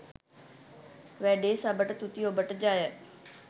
වැඩේ සබට තුති ඔබට ජය